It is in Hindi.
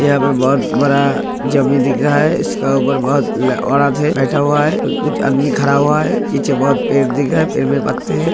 यहाँ पे बहुत बड़ा जमीन दिख रहा है इसके ऊपर बहुत औरतें है बैठा हुआ है कुछ आदमी खड़ा हुआ है पीछे बहुत पेड़ दिख रहा है पेड़ में पत्ते हैं।